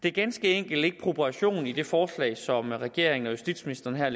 er ganske enkelt ikke proportioner i det forslag som regeringen og justitsministeren har